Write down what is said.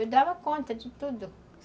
Eu dava conta de tudo.